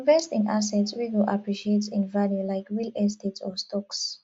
invest in assets wey go appreciate in value like real estate or stocks